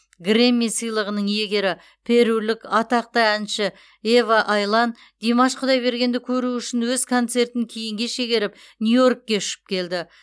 грэмми сыйлығының иегері перулік атақты әнші ева айлан димаш құдайбергенді көру үшін өз концертін кейінге шегеріп нью йоркке ұшып келді